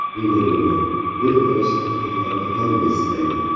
Nega bunday, bir qarashda haqiqatni hamma istaydi?